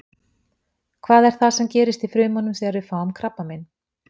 Hvað er það sem gerist í frumunum þegar við fáum krabbamein?